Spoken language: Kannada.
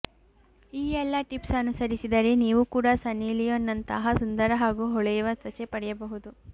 ಈ ಎಲ್ಲಾ ಟಿಪ್ಸ್ ಅನುಸರಿಸಿದರೆ ನೀವು ಕೂಡ ಸನ್ನಿ ಲಿಯೋನ್ ನಂತಹ ಸುಂದರ ಹಾಗೂ ಹೊಳೆಯುವ ತ್ವಚೆ ಪಡೆಯಬಹುದು